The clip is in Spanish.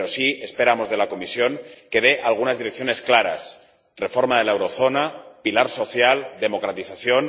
Pero sí esperamos de la Comisión que dé algunas direcciones claras reforma de la eurozona, pilar social, democratización.